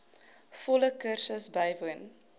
volle kursus bywoon